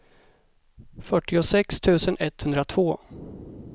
fyrtiosex tusen etthundratvå